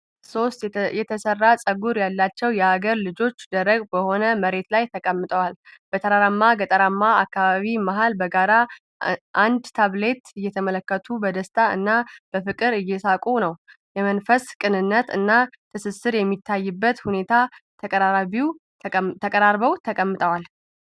ሦስት የተሰራ ፀጉር ያላቸው የአገር ልጆች ደረቅ በሆነ መሬት ላይ ተቀምጠዋል። በተራራማ ገጠራማ አካባቢ መሃል፣ በጋራ አንድ ታብሌት እየተመለከቱ በደስታ እና በፍቅር እየሳቁ ነው። የመንፈስ ቅንነት እና ትስስር በሚታይበት ሁኔታ ተቀራርበው ተቀምጠዋል።